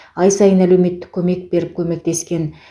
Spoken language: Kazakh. ай сайын әлеуметтік көмек беріп көмектескен